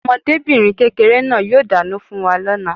Ọmọdébìnrin kékeré náà yóò dáná fún wa lóla